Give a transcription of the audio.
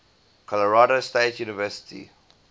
colorado state university